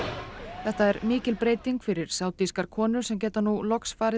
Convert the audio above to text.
þetta er mikil breyting fyrir konur sem geta nú loks farið